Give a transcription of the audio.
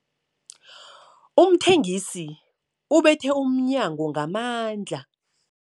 Umthengisi ubethe umnyango ngamandla.